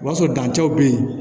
O b'a sɔrɔ dancɛw bɛ yen